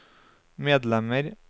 medlemmer